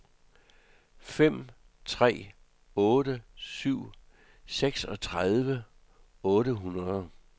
fem tre otte syv seksogtredive otte hundrede